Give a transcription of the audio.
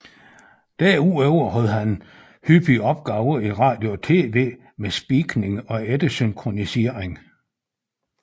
Derudover havde han hyppigt opgaver i radio og tv med speakning og eftersynkronisering